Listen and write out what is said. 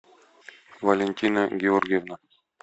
валентина георгиевна